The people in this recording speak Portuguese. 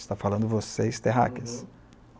Está falando vocês terráqueas.